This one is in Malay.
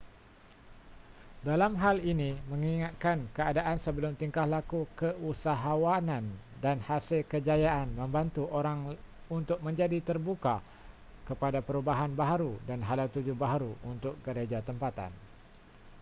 dalam hal ini mengingatkan keadaan sebelum tingkah laku keusahawanan dan hasil kejayaan membantu orang untuk menjadi terbuka kepada perubahan baharu dan hala tuju baharu untuk gereja tempatan